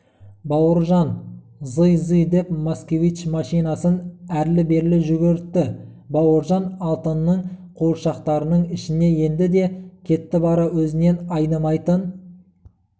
бауыржан зый-зый деп москвичмашинасын әрлі-бері жүгіртті бауыржан алтынның қуыршақтарының ішіне енді де кетті бара өзінен айнымайтын